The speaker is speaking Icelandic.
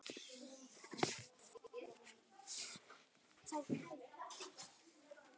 Þetta er alveg satt.